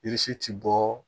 ti bɔ